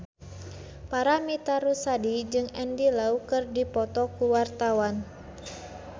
Paramitha Rusady jeung Andy Lau keur dipoto ku wartawan